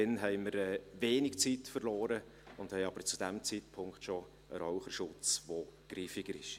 Dann werden wir wenig Zeit verloren haben, werden aber zu diesem Zeitpunkt schon einen Raucherschutz haben, welcher griffiger ist.